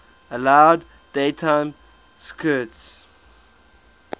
allowed daytime skirts